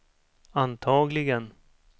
antagligen